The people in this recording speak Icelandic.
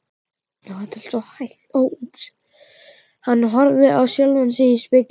Hann horfði á sjálfan sig í spegli.